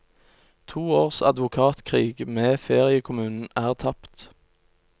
To års advokatkrig med feriekommunen er tapt.